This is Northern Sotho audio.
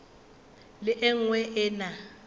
le e nngwe e na